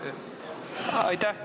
Aitäh!